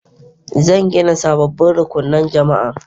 Zan gina sababbin rukunan jama'a.